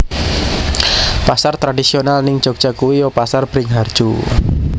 Pasar tradisional ning Jogja kui yo Pasar Bringharjo